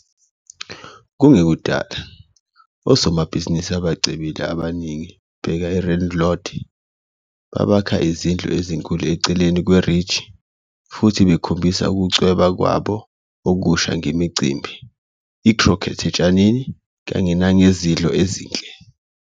Kungekudala, osomabhizinisi abacebile abaningi, bheka i-Randlord, babakha izindlu ezinkulu eceleni kwe-ridge, futhi bekhombisa ukuceba kwabo okusha ngemicimbi, i-croquet otshanini, kanye nangezidlo ezinhle.